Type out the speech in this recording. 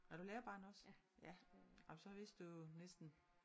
Er du lærerbarn også? Ja ej men så vidste du jo næsten